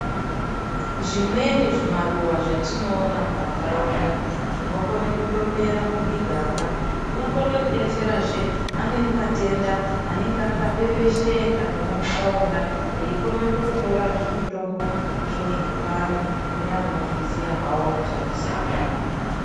Zvimweni zvimaruwa zvetinoona mumantaraunda zvinokone kundomera mumiganga zvinokone kutodetserazve amweni matenda anenge akapepesheka memuntaraunda veikona kutora zvimutombo izvozvo kupa antu kune anozviziya hawo mushandisirwo wazvo.